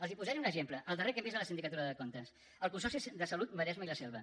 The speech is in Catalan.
els posaré un exemple el darrer que hem vist a la sindicatura de comptes el consorci de salut maresme i la selva